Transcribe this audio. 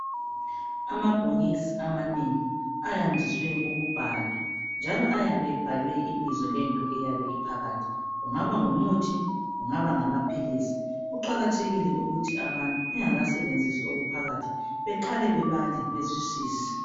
Amabhokisi amanengi ayandiswe ukubhalwa, njalo ayabe ebhalwe ibizo lento eyabe iphakathi, kungaba ngumuthi, kungaba ngamapilisi. Kuqakathekile ukithi abantu bengakasebenzisi okuphakathi beqale bebale bezwisise.